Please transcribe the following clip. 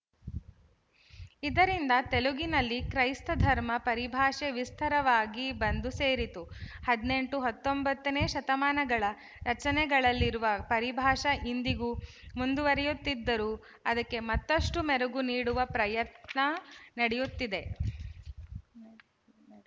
ಇದರಿಂದ ತೆಲುಗಿನಲ್ಲಿ ಕ್ರೈಸ್ತಧರ್ಮ ಪರಿಭಾಷೆ ವಿಸ್ತಾರವಾಗಿ ಬಂದು ಸೇರಿತು ಹದಿನೆಂಟು ಹತ್ತೊಂಬತ್ತನೇ ಶತಮಾನಗಳ ರಚನೆಗಳಲ್ಲಿರುವ ಪರಿಭಾಷೆ ಇಂದಿಗೂ ಮುಂದುವರಿಯುತ್ತಿದ್ದರೂ ಅದಕ್ಕೆ ಮತ್ತಷ್ಟು ಮೆರುಗು ನೀಡುವ ಪ್ರಯತ್ನ ನಡೆಯಿತು